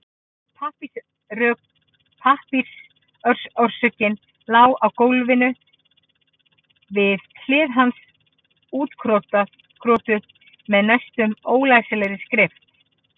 Pappírsörkin lá á gólfinu við hlið hans útkrotuð með næstum ólæsilegri skrift.